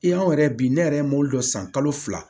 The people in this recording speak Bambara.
I y'anw yɛrɛ bi ne yɛrɛ mɔbili dɔw san kalo fila